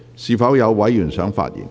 是否有委員想發言？